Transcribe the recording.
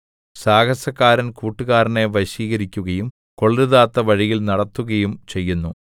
സാഹസക്കാരൻ കൂട്ടുകാരനെ വശീകരിക്കുകയും കൊള്ളരുതാത്ത വഴിയിൽ നടത്തുകയും ചെയ്യുന്നു